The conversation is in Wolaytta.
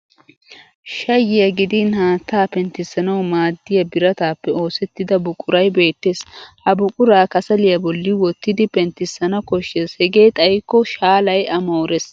Shayyiyaa gidin haattaa penttissanawu maaddiya birataappe oosettida buquray beettes. Ha buquraa kasaliya bolli wottidi penttissana koshshes hegee xayikko shaalay a moores.